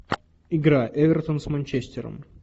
игра эвертон с манчестером